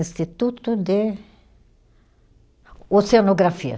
Instituto de Oceanografia.